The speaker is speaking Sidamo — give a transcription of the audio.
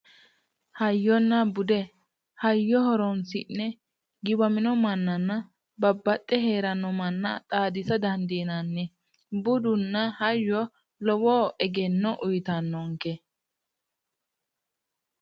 Hayyonna bude hayyo horoonsi'ne giwamino mannanna babbaxxe heeranno manna xaadisa dandiinanni. budunna hayyo lowo egenno uuyitannonke